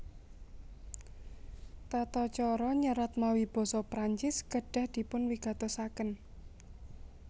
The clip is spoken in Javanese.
Tata cara nyerat mawi basa Prancis kedah dipunwigatosaken